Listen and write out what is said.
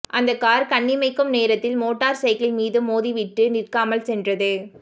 அந்த கார் கண்ணிமைக்கும் நேரத்தில் மோட்டார்சைக்கிள் மீது மோதி விட்டு நிற்காமல் சென்றது